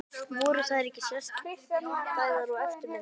Voru þær ekki sérstæðar og eftirminnilegar?